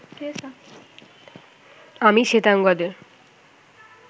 আমি শ্বেতাঙ্গদের